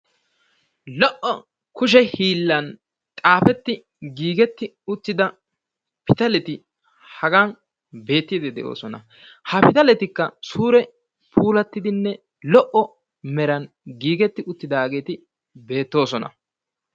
lo'o kushe hiillan xaafetti uttida pitaletti hagan beetoosona. ha pitalettikka suure tiyettidi lo'o meran giigetti utaageeti beetoosona.